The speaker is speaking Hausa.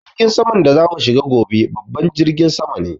Jirgin saman da za mu shiga gobe babban jirgi sama ne